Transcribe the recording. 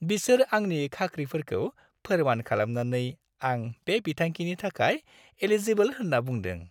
बिसोर आंनि खाख्रिफोरखौ फोरमान खालामनानै आं बे बिथांखिनि थाखाय एलिजिबोल होन्ना बुंदों।